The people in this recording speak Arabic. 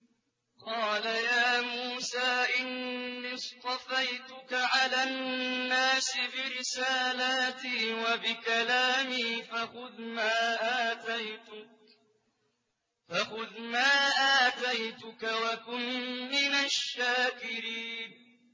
قَالَ يَا مُوسَىٰ إِنِّي اصْطَفَيْتُكَ عَلَى النَّاسِ بِرِسَالَاتِي وَبِكَلَامِي فَخُذْ مَا آتَيْتُكَ وَكُن مِّنَ الشَّاكِرِينَ